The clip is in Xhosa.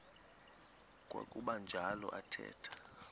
kwakuba njalo athetha